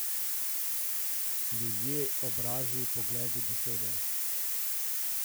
Ljudje, obrazi, pogledi, besede.